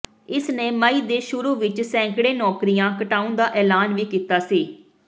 ਇਸ ਨੇ ਮਈ ਦੇ ਸ਼ੁਰੂ ਵਿਚ ਸੈਂਕੜੇ ਨੌਕਰੀਆਂ ਘਟਾਉਣ ਦਾ ਐਲਾਨ ਵੀ ਕੀਤਾ ਸੀ